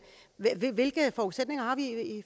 hvilke forudsætninger